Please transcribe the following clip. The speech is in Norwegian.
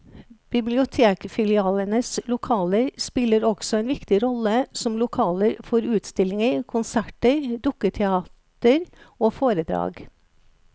Bibliotekfilialenes lokaler spiller også en viktig rolle som lokaler for utstillinger, konserter, dukketeater og foredrag.